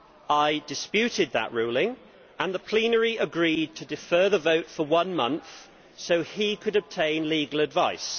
I disputed that ruling, and the plenary agreed to defer the vote for one month so he could obtain legal advice.